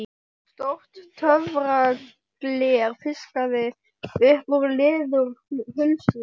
Stórt töfragler fiskað upp úr leðurhulstri